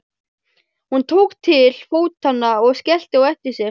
Hún tók til fótanna og skellti á eftir sér.